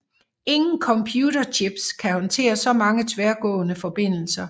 Ingen computerchips kan håndtere så mange tværgående forbindelser